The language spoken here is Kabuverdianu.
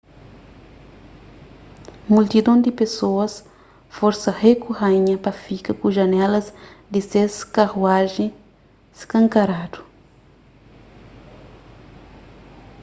multidon di pesoas forsa rei ku raínha pa fika ku janelas di ses karuajen skankaradu